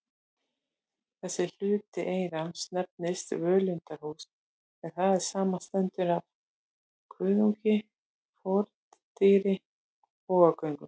Þessi hluti eyrans nefnist völundarhús, en það samanstendur af kuðungi, fordyri og bogagöngum.